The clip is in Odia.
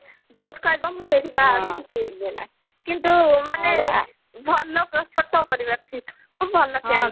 ଯୋଉଠି କହିବ ମୁଁ ସେଇଠି ବାହା ହେବି କିଛି ଇଏ ନାହିଁ କିନ୍ତୁ ମାନେ ଭଲ ଭଲ candidate